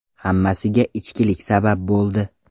Hammasiga ichkilik sabab bo‘ldi.